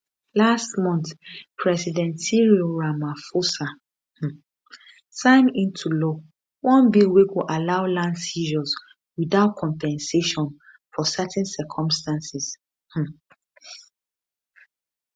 last month president cyril ramaphosa um sign into law one bill wey go allow land seizures without compensation for certain circumstances um